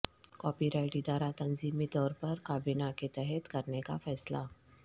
copy right ادارہ تنظیمی طور پر کابینہ کے تحت کرنے کا فیصلہ